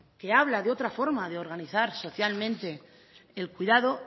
que habla de otra forma de organizar socialmente el cuidado